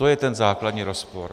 To je ten základní rozpor.